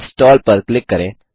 install पर click करें